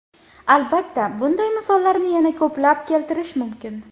Albatta, bunday misollarni yana ko‘plab keltirish mumkin.